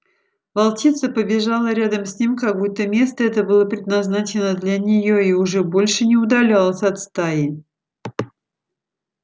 волчица побежала рядом с ним как будто место это было предназначено для неё и уже больше не удалялась от стаи